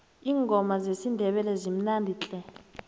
iingoma zesindebele zimnandi tle